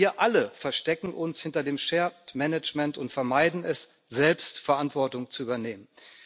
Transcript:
Wir alle verstecken uns hinter dem shared management und vermeiden es, selbst Verantwortung zu übernehmen.